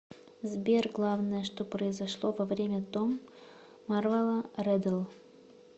сбер главное что произошло во время том марволо реддл